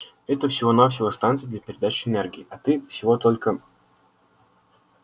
это всего-навсего станция для передачи энергии а ты всего только